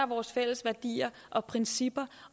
vores fælles værdier og principper